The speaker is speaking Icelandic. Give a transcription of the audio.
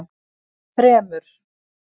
þremur